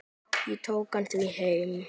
Ég tók hann því heim.